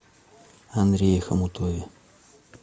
андрее хомутове